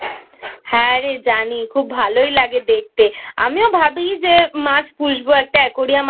হ্যাঁ রে জানি খুব ভালোই লাগে দেখতে আমিও ভাবী যে মাছ পুষবো একটা Aquarium এনে